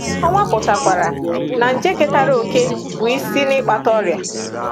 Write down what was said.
Ọ nwapụtakwara na nje ketara òkè bụ́ isi n’ịkpata ọrịa.